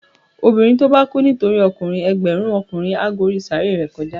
Obinrín to ba kú nitori okunrin, ẹgbẹrun okunrin a gba orí saaré re kojá